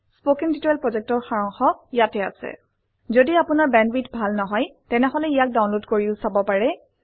spoken tutorial প্ৰকল্পৰ সাৰাংশ ইয়াত আছে যদি আপোনাৰ বেণ্ডৱিডথ ভাল নহয় তেনেহলে ইয়াক ডাউনলোড কৰি চাব পাৰে